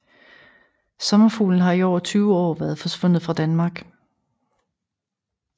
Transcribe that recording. Sommerfuglen har i over 20 år været forsvundet fra Danmark